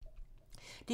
DR1